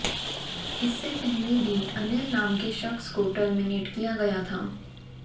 इससे पहले भी अनिल नाम के शख्स को टर्मिनेट किया गया था